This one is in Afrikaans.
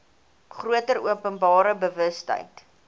groter openbare bewustheid